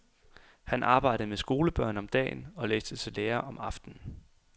Han arbejdede med skolebørn om dagen, og læste til lærer om aftenen.